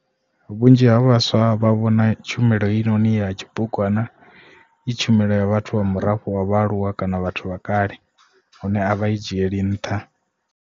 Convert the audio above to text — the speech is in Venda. Vhunzhi ha vhaswa vha vhona tshumelo heinoni ya tshibugwana i tshumelo ya vhathu vha murafho wa vha aluwa kana vhathu vha kale hune a vha i dzhieli nṱha.